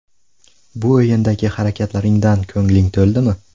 Bu o‘yindagi harakatlaringdan ko‘ngling to‘ldimi?